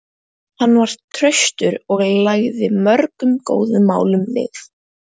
Hann var traustur og lagði mörgum góðum málum lið.